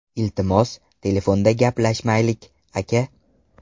Iltimos, telefonda gaplashmaylik, aka.